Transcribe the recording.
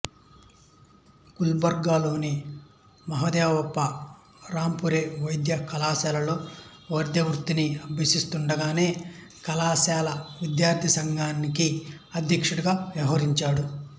గుల్బర్గాలోని మహాదేవప్ప రాంపూరే వైద్య కళాశాలలో వైద్యవృత్తిని అభ్యసిస్తుండగానే కళాశాల విద్యార్థిసంఘానికి అధ్యక్షుడిగా వ్యవహరించాడు